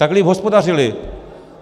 Tak líp hospodařili.